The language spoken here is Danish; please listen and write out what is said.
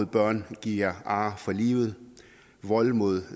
børn giver ar for livet vold mod